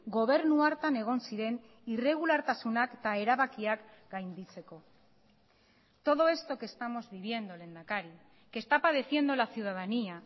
gobernu hartan egon ziren irregulartasunak eta erabakiak gainditzeko todo esto que estamos viviendo lehendakari que está padeciendo la ciudadanía